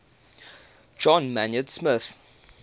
john maynard smith